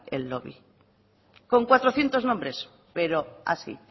el doble con cuatrocientos nombres pero así